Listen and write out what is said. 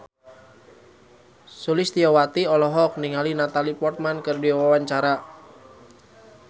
Sulistyowati olohok ningali Natalie Portman keur diwawancara